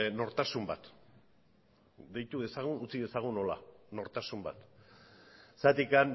nortasun bat deitu dezagun utzi dezagun horrela nortasun bat zergatik